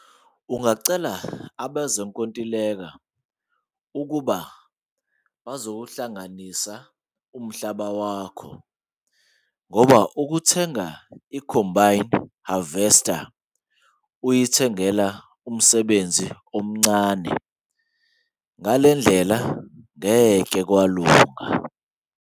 Ungacela abezinkontileka ukuba bazohlanganisa umhlaba wakho ngoba ukuthenga icombine harvester uyithengela umsebenzi omncane ngale ndlela ngeke kwalunga.